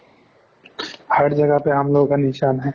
har jagah pe humlog ka নিছান hain